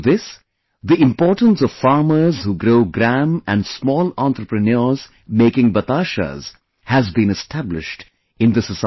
Through this, the importance of farmers who grow gram and small entrepreneurs making batashas has been established in the society